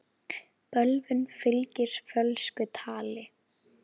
Bölvun fylgir fölsku tali.